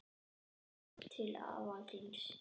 Hvenær ferðu til afa þíns?